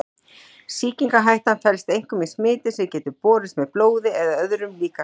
Sýkingarhættan felst einkum í smiti sem getur borist með blóði eða öðrum líkamsvessum.